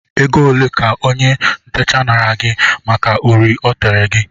Oge ole ka ónyé ntecha naara gị màkà uri o tere gị?